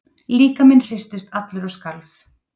Líkaminn hristist allur og skalf.